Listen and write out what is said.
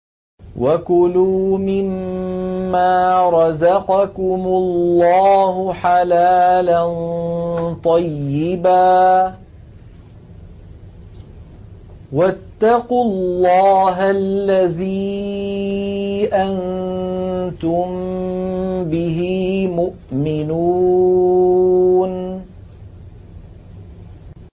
وَكُلُوا مِمَّا رَزَقَكُمُ اللَّهُ حَلَالًا طَيِّبًا ۚ وَاتَّقُوا اللَّهَ الَّذِي أَنتُم بِهِ مُؤْمِنُونَ